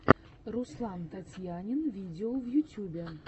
руслантатьянинвидео в ютьюбе